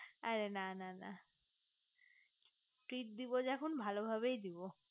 অরে না না না treat দেব যখন ভালো ভাবেই দেব